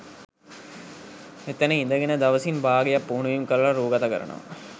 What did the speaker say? එතන ඉඳගෙන දවසින් භාගයක් පුහුණුවීම් කරල රූගත කරනවා